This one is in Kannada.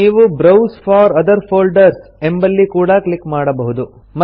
ನೀವು ಬ್ರೌಸ್ ಫೋರ್ ಒಥರ್ ಫೋಲ್ಡರ್ಸ್ ಎಂಬಲ್ಲಿ ಕೂಡಾ ಕ್ಲಿಕ್ ಮಾಡಬಹುದು